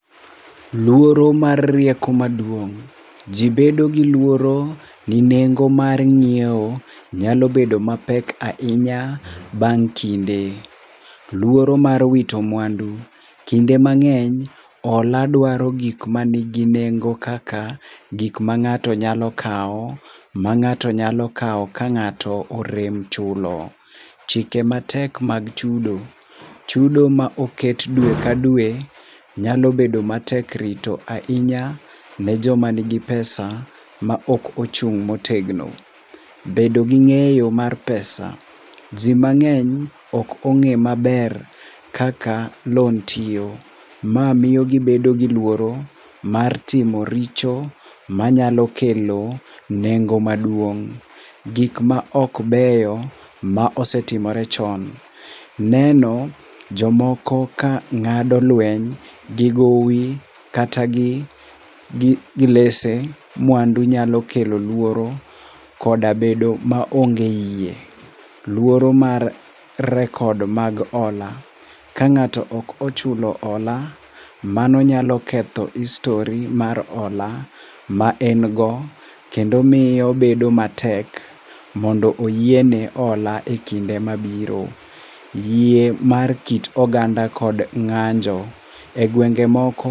Luoro mar rieko maduong'. Ji bedo gi luoro ginego mar ng'iewo nyalo bedo mapek ahinya bang' kinde. Luoro mar wito mwandu. Kinde mang'eny , hola dwaro gik mani gi nengo kaka gik ma ng'ato nyalo kawo ka ng'ato orem chulo. Chike matek mag chudo. Chudo ma oket dwe ka dwe nyalo bedo matek rito ahinya ne joma nigi pesa maok ochung' motegno. Bedo gi ng'eyo mar pesa. Ji mang'eny ok ong'eyo maber kaka loan tiyo. Ma miyo gibedo gi luoro mar timo richo manyalo kelo nengo maduong'. Gik maok beyo ma osetimore chon. Neno ka jomoko ka ng'ado lweny gi gowi kata gi gilese mwandu nya kodlo kelo luoro koda bedo maonge yie. Luoro mag record mag hola. Ka ng'ato ok ochulo hola, mano nyalo ketho histori mar hola ma en go kendo miyo bedo matek mondo oyiene hola ekinde mabiro. Yie mar kit oganda kod ng'anjo. Egwenge moko.